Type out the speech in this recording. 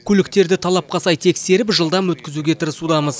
көліктерді талапқа сай тексеріп жылдам өткізуге тырысудамыз